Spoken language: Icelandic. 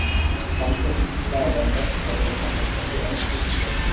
Samkeppnisstaða versnar vegna hækkandi eldsneytisverðs